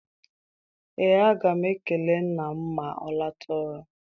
Ee, aga m ekele nna m ma ọ lọta ọrụ.